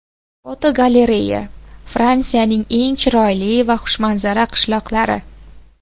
Fotogalereya: Fransiyaning eng chiroyli va xushmanzara qishloqlari.